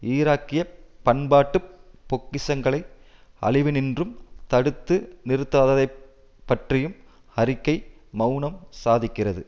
ஈராக்கிய பண்பாட்டுப் பொக்கிஷங்களை அழிவினின்றும் தடுத்து நிறுத்தாததைப் பற்றியும் அறிக்கை மெளனம் சாதிக்கிறது